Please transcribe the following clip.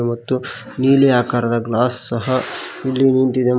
ಮತ್ತು ನೀಲಿ ಆಕಾರದ ಗ್ಲಾಸ್ ಸಹ ಇಲ್ಲಿ ನಿಂತಿದೆ ಮ--